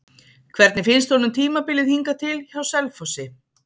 Hvernig finnst honum tímabilið hingað til hjá Selfossi?